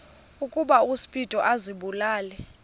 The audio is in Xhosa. ukuba uspido azibulale